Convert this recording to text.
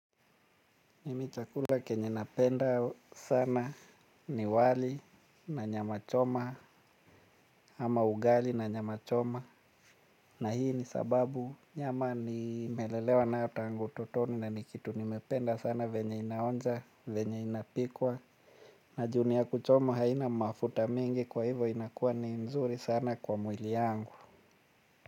Mimi chakula kenye napenda sana ni wali na nyama choma ama ugali na nyama choma na hii ni sababu nyama nimelelewa nayo tangu utotoni na nikitu nimependa sana venye inaonja venye inapikwa na juu ni ya kuchoma haina mafuta mingi kwa hivo inakuwa ni nzuri sana kwa mwili yangu.